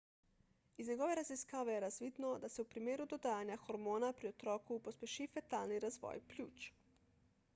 iz njegove raziskave je razvidno da se v primeru dodajanja hormona pri otroku pospeši fetalni razvoj pljuč